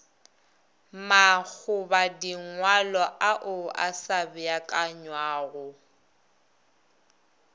makgobadingwalo ao a sa beakanywago